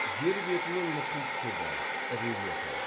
жер беті мен мұхит түбі рельефі